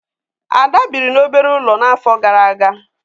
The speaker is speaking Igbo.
Ada biri n'obere ulo n'afo gara aga